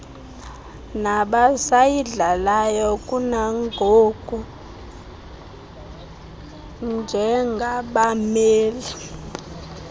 nabasayidlalayo kunangoku njengabameli